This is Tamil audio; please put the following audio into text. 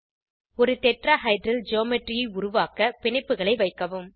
ஒரு டெட்ராஹைட்ரல் ஜ்யோமெட்ரி உருவாக்க பிணைப்புகளை வைக்கவும்